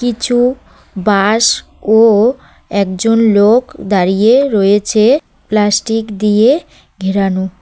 কিছু বাঁশ ও একজন লোক দাঁড়িয়ে রয়েছে প্লাস্টিক দিয়ে ঘেরানো।